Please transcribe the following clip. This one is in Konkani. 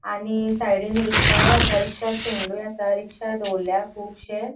आणि साइडीन रिक्शाय असा रिक्शा स्टेंडूय असा रिक्शा दोवरल्या कूबशे.